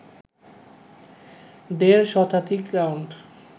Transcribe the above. দেড় শতাধিক রাউন্ড